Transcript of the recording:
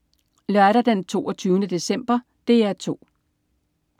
Lørdag den 22. december - DR 2: